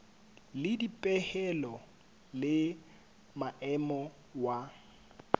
le dipehelo le maemo wa